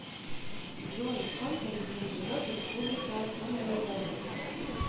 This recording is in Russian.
джой сколько людей живет в республика сомалиленд